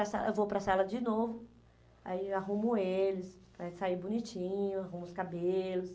para a sala, eu vou para a sala de novo, aí eu arrumo eles, para sair bonitinho, arrumo os cabelos.